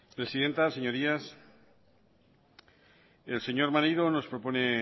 presidenta señorías el señor maneiro nos propone